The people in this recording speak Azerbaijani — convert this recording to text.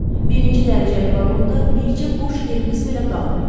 Birinci dərəcəli vaqonda bircə boş yerimiz belə qalmayıb.